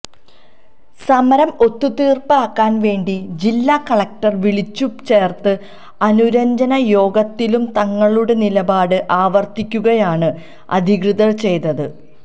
സമരം ഒത്തുതീര്പ്പാക്കാന് വേണ്ടി ജില്ല കളക്ടര് വിളിച്ചു ചേര്ത്ത അനുരഞ്ജന യോഗത്തിലും തങ്ങളുടെ നിലപാട് ആവര്ത്തിക്കുകയാണ് അധികൃതര് ചെയ്തത്